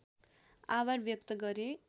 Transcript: आभार व्यक्त गरे